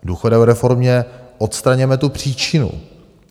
V důchodové reformě odstraňujeme tu příčinu.